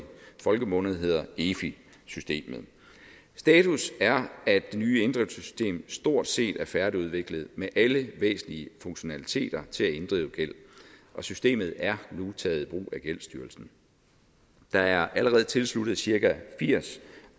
folkemunde hedder efi systemet status er at det nye inddrivelsessystem stort set er færdigudviklet med alle væsentlige funktionaliteter til at inddrive gæld og systemet er nu taget i brug af gældsstyrelsen der er allerede tilsluttet cirka firs